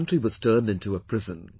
The country was turned into a prison